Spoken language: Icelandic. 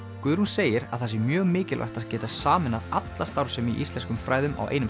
Guðrún segir að það sé mjög mikilvægt að geta sameinað alla starfsemi í íslenskum fræðum á einum